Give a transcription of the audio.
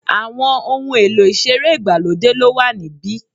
Àwọn ohun èlò ìṣeré ìgbàlódé ló wà níbí.